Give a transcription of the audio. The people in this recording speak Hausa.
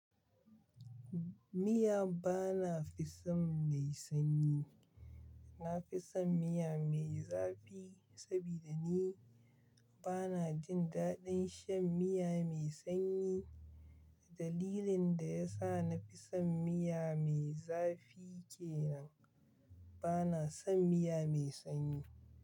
Miya bana fison mai sanyi. Na fi son miya mai zafi saboda ni bana jin daɗin shan miya mai sanyi. Dalilin da ya sa na fi son miya mai zafi kenan bana son miya mai sanyi.